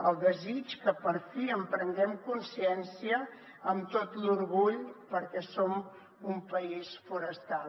el desig que per fi en prenguem consciència amb tot l’orgull perquè som un país forestal